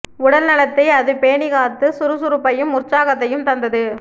உடல் நலத்தை அது பேணிக் காத்து சுறுசுறுப்பையும் உற்சாகத்தையும் தந்தது